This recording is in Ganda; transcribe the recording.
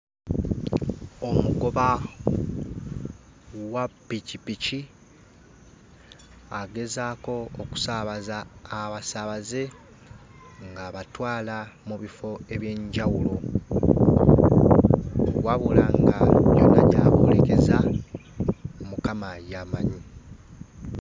Omugoba wa pikipiki agezaako okusaabaza abasaabaze ng'abatwala mu bifo eby'enjawulo, wabula nga yonna gy'aboolekeza Mukama y'amanyi.